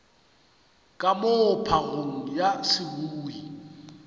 ka moo phagong ya seboi